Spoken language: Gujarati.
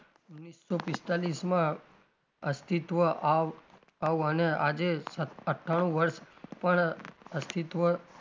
ઓગણીસો પિસ્તાલીસમાં અસ્તિત્વ આવ આવવાના આજે અઠાણું વર્ષ પણ અસ્તિત્વ,